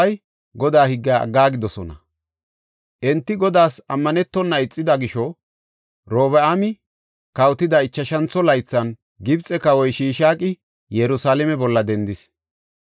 Enti Godaas ammanetona ixida gisho Robi7aami kawotida ichashantho laythan Gibxe kawoy Shishaaqi Yerusalaame bolla dendis.